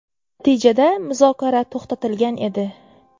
Natijada muzokara to‘xtatilgan edi.